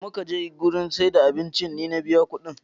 Da mu ka je gidan siyar da abincin ni na biya ƙuɗin